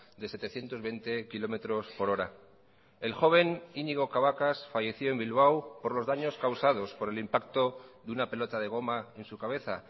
de setecientos veinte kilómetros por hora el joven iñigo cabacas falleció en bilbao por los daños causados por el impacto de una pelota de goma en su cabeza